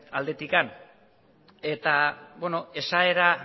aldetik eta beno esaera